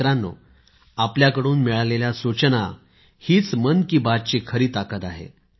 मित्रांनो आपल्याकडून मिळालेल्या सूचना हीच मन की बात ची खरी ताकद आहे